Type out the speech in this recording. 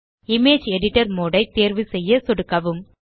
image editor mode ஐ தேர்வுசெய்ய சொடுக்கவும்